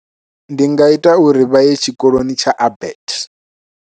Ndi nga ita uri vha ye tshikoloni tsha Abet.